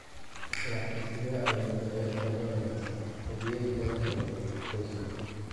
Laakiin sidee ayuu da’yarka Lawrence hadiyad uga helay Ozil?